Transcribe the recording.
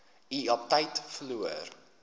u aptyt verloor